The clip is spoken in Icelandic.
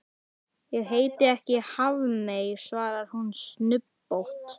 Ég heiti ekki Hafmey, svarar hún snubbótt.